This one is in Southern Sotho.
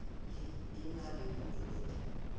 le e na le baemedi